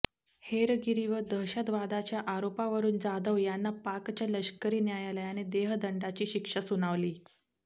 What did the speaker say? हेरगिरी व दहशतवादाच्या आरोपावरून जाधव यांना पाकच्या लष्करी न्यायालयाने देहदंडाची शिक्षा सुनावली